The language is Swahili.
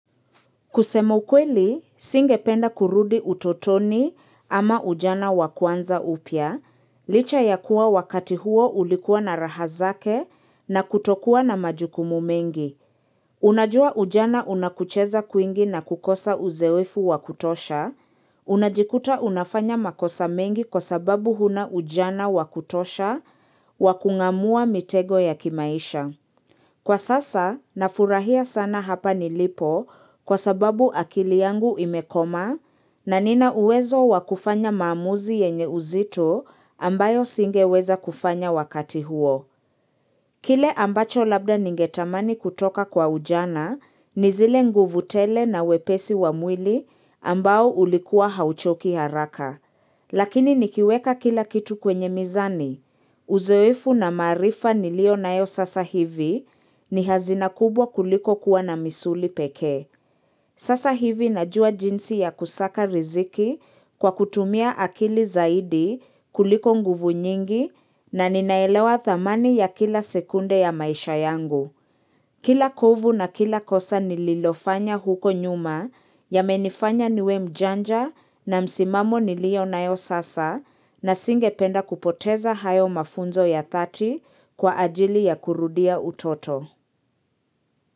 Kusemukweli, singependa kurudi utotoni ama ujana wakuanza upya, licha ya kuwa wakati huo ulikuwa na rahazake na kutokuwa na majukumu mengi. Unajua ujana unakucheza kuingi na kukosa uzoefu wakutosha, unajikuta unafanya makosa mengi kwa sababu huna ujana wakutosha wakungamua mitego ya kimaisha. Kwa sasa, nafurahia sana hapa nilipo kwa sababu akili yangu imekoma na nina uwezo wakufanya maamuzi yenye uzito ambayo singeweza kufanya wakati huo. Kile ambacho labda ningetamani kutoka kwa ujana, nizile nguvutele na wepesi wa mwili ambao ulikua hauchoki haraka. Lakini nikiweka kila kitu kwenye mizani. Uzoefu na marifa nilio naesasa hivi ni hazina kubwa kuliko kuwa na misuli peke. Sasa hivi najua jinsi ya kusaka riziki kwa kutumia akili zaidi kuliko nguvu nyingi na ninaelewa thamani ya kila sekunde ya maisha yangu. Kila kovu na kila kosa nililofanya huko nyuma ya menifanya niwe mjanja na msimamo nilio nae sasa nisingependa kupoteza hayo mafunzo ya 30 kwa ajili ya kurudia utoto.